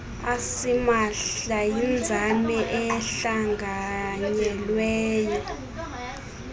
asimahla yinzame ehlanganyelweyo